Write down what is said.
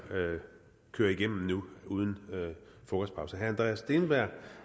køre igennem nu uden frokostpause herre andreas steenberg